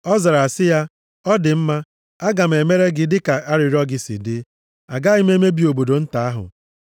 Ọ zara sị ya, “Ọ dị mma, aga m emere gị dịka arịrịọ gị si dị. Agaghị m emebi obodo nta ahụ.